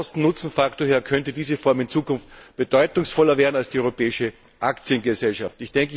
Vom Kosten Nutzen Faktor her könnte diese Gesellschaftsform in Zukunft bedeutungsvoller werden als die europäische Aktiengesellschaft.